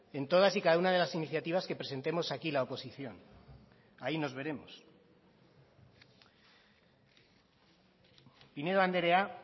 en todas y cada una de las iniciativas que presentemos aquí la oposición ahí nos veremos pinedo andrea